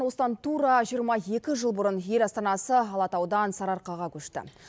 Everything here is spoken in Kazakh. осыдан тура жиырма екі жыл бұрын ел астанасы алатаудан сарыарқаға көшті